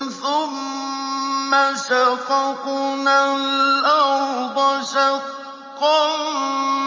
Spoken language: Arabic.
ثُمَّ شَقَقْنَا الْأَرْضَ شَقًّا